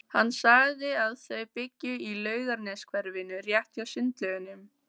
Hann sagði að þau byggju í Laugarneshverfinu, rétt hjá Sundlaugunum.